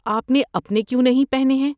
آپ نے اپنے کیوں نہیں پہنے ہیں؟